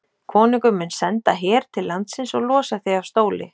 Konungur mun senda her til landsins og losa þig af stóli.